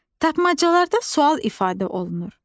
Tapmacalarda sual ifadə olunur.